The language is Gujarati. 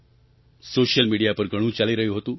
સૉશિયલ મિડિયા પર ઘણું ચાલી રહ્યું હતું